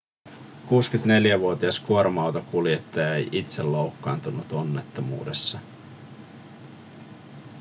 64-vuotias kuorma-auton kuljettaja ei itse loukkaantunut onnettomuudessa